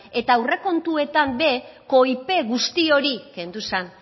eta aurrekontuetan ere koipe guzti hori kendu zen